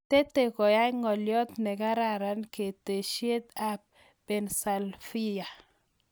Tete koyai ng'aliot nekararan ketesyet ab pennyslavia.